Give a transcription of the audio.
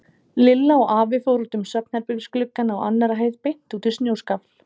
Lilla og afi fóru út um svefnherbergisgluggann á annarri hæð beint út í snjóskafl.